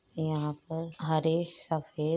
यहाँ पर हरे सफेद --